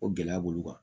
O gɛlɛya b'olu kan